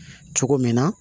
Cogo min na